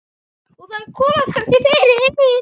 Og þar komast kannski fyrir